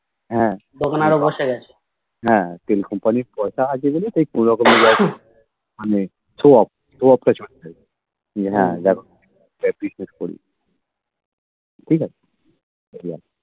হ্যাঁ হ্যাঁ তেল company এর কথা আছে বলে তাই কোনোরকমে মানে show off showoff টা চলছে যে হ্যাঁ যাক ঠিক আছে